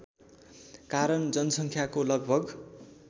कारण जनसङ्ख्याको लगभग